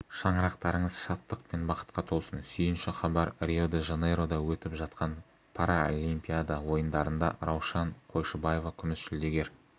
шаңырақтарыңыз шаттық пен бақытқа толсын сүйінші хабар рио-де-жанейрода өтіп жатқан паралимпиада ойындарында раушан қойшыбаева күміс жүлдегер